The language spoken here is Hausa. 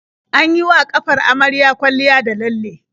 An yi wa ƙafar amaryar kwalliya da lalle.